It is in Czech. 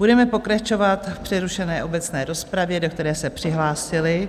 Budeme pokračovat v přerušené obecné rozpravě, do které se přihlásili